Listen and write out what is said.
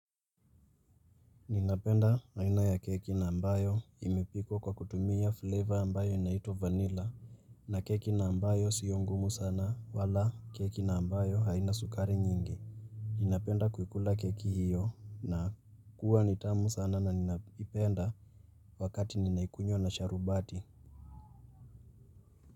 Ninapenda aina ya keki na ambayo imepikwa kwa kutumia flavor ambayo inaitwa vanilla na keki na ambayo sio ngumu sana wala keki na ambayo haina sukari nyingi. Ninapenda kuikula keki hiyo na kuwa nitamu sana na ninapenda wakati ninaikunywa na sharubati.